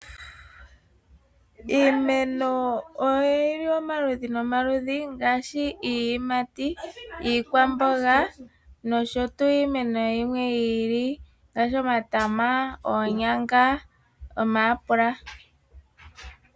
Iimeno oyili omaludhi nomaludhi ngaashi, iiyimati, iikwamboga nosho tu iimeno yimwe yi ili ngaashi, omatama, oonyanga, omayapula.